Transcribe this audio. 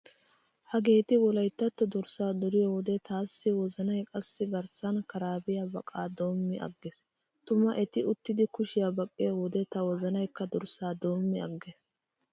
Hageeti wolayttatto durssaa duriyo wode taassi wozanay qassi garssan karaabiya baqaa doommi aggees. Tuma eti uttidi kushiya baqqiyo wode ta wozanaykka durssaa doommi aggees.